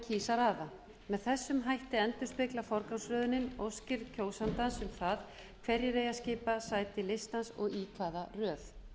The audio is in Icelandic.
að raða með þessum hætti endurspeglar forgangsröðunin óskir kjósandans um það hverjir eiga að skipa sæti listans og í hvaða röð